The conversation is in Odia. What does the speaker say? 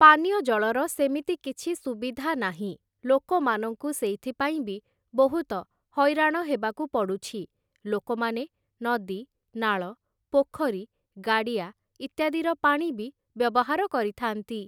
ପାନୀୟ ଜଳର ସେମିତି କିଛି ସୁବିଧା ନାହିଁ, ଲୋକମାନଙ୍କୁ ସେଇଥିପାଇଁ ବି ବହୁତ ହଇରାଣ ହେବାକୁ ପଡ଼ୁଛି । ଲୋକମାନେ ନଦୀ, ନାଳ, ପୋଖରୀ, ଗାଡ଼ିଆ ଇତ୍ୟାଦିର ପାଣି ବି ବ୍ୟବହାର କରିଥାନ୍ତି ।